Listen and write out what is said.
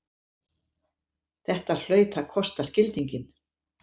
Þetta hlaut að kosta skildinginn!